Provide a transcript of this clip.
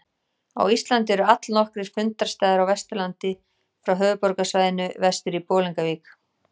Á Íslandi eru allnokkrir fundarstaðir á Vesturlandi frá höfuðborgarsvæðinu vestur í Bolungarvík.